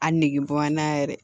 A nege bɔ n na yɛrɛ